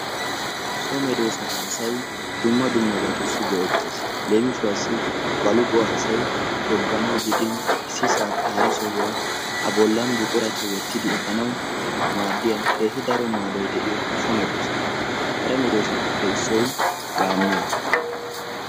so meedosata asay dumma dummabaasi go"etees. leemisuwaasi baluquwaa asay togganawu giidin issi sohuwaa hara sohuwaa a bollan buquraa wottidi efaanawu maadiyaa keehi daro maadoy de'iyoo meedoosa. kare medoosappe issoy gaammuwaa.